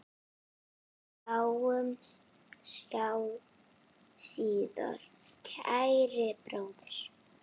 Sjáumst síðar, kæri bróðir.